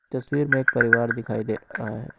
तस्वीर में एक परिवार दिखाई दे रहा है।